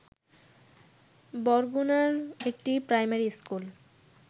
বরগুনার একটি primary school